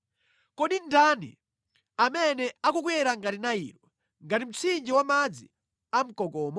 “Kodi ndani amene akukwera ngati Nailo, ngati mtsinje wa madzi amkokomo?